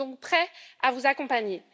nous sommes donc prêts à vous accompagner.